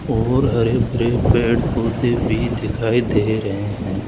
और हरे भरे पेड़ पौधे भी दिखाई दे रहे हैं।